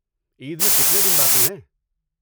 عید میں کتنے دن باقی ہیں؟